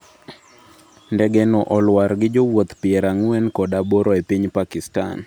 Ndege no olwar gi jowuoth piarang'wenkodaboro e piny Pakistan